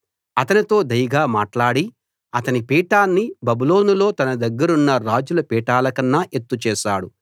అతనితో దయగా మాట్లాడి అతని పీఠాన్ని బబులోనులో తన దగ్గరున్న రాజుల పీఠాలకన్నా ఎత్తు చేశాడు